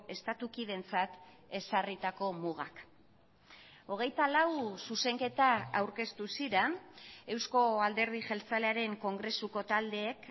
estatukideentzat ezarritako mugak hogeitalau zuzenketa aurkeztu ziren eusko alderdi jeltzalearen kongresuko taldeek